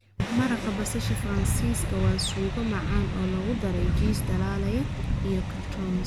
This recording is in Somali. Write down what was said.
Maraq basasha Faransiiska waa suugo macaan oo lagu daray jiis dhalaalay iyo croutons.